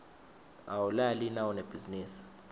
awulali nawunebhizinisi